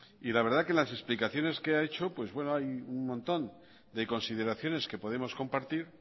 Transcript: y la verdad que en las explicaciones que ha hecho pues bueno hay un montón de consideraciones que podemos compartir